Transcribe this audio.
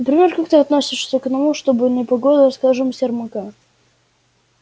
например как ты относишься к тому чтобы контролировать не погоду а скажем сермака